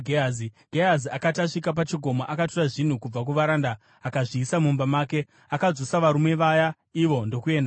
Gehazi akati asvika pachikomo, akatora zvinhu kubva kuvaranda akazviisa mumba make. Akadzosa varume vaya ivo ndokuenda havo.